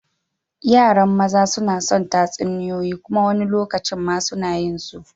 Yaran maza suna son tatsuniyoyi kuma wani lokacin ma suna yin su.